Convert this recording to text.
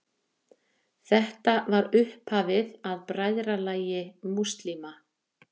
Þetta var upphafið að Bræðralagi múslíma.